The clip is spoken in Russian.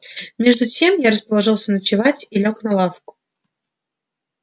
между тем я расположился ночевать и лёг на лавку